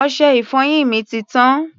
Ọṣẹ-ìfọyín mi ti tán.